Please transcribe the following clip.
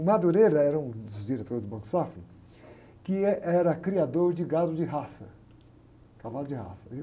O era um dos diretores do Banco Safra, que, eh, era criador de gado de raça, cavalo de raça.